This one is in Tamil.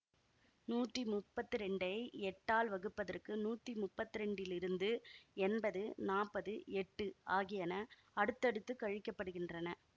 நூத்தி முப்பத்தி இரண்டை எட்டால் வகுப்பதற்கு நூத்தி முப்பத்தி இரண்டிலிருந்து எம்பது நாப்பது எட்டு ஆகியன அடுத்தடுத்து கழிக்கப்படுகின்றன